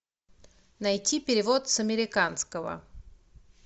найти перевод с американского